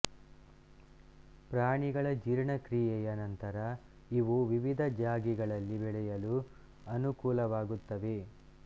ಪ್ರಾಣಿಗಳ ಜೀರ್ಣಕ್ರಿಯೆಯ ನಂತರ ಇವು ವಿವಿಧ ಜಾಗೆಗಳಲ್ಲಿ ಬೆಳೆಯಲು ಅನುಕೂಲವಾಗುತ್ತವೆ